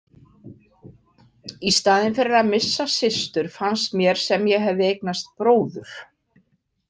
Í staðinn fyrir að missa systur fannst mér sem ég hefði eignast bróður.